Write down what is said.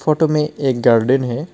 Photo में एक garden है।